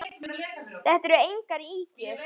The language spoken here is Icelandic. Þetta eru engar ýkjur.